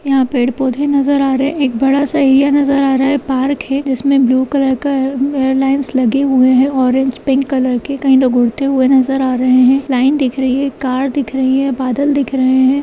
यहाँ पेड़-पौधे नजर आ रहे हैं एक बड़ा-सा एरिया नजर आ रहा है पार्क है जिसमें ब्लू-कलर का ए-एयरलाइन्स लगे हुए हैं ऑरेंज-पिंक-कलर के कई लोग उड़ते हुए नजर आ रहे हैं लाइन दिख रही है कार दिख रही है बादल दिख रहे हैं।